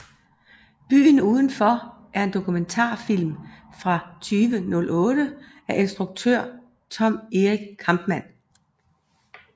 Byen udenfor er en dokumentarfilm fra 2008 af instruktøren Tom Erik Kampman